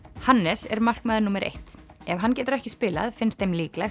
Hannes er markmaður númer eitt ef hann getur ekki spilað finnst þeim líklegt